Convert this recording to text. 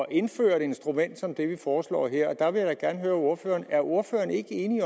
at indføre et instrument som det vi foreslår her der vil jeg da gerne høre ordføreren er ordføreren ikke enig